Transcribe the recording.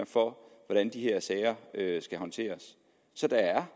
for hvordan de her sager skal håndteres så der er